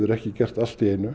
ekki gert allt í einu